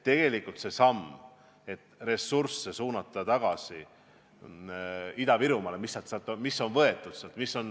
Tegelikult on vaja seda sammu, et suunata Ida-Virumaale tagasi ressursse, mis sealt on võetud.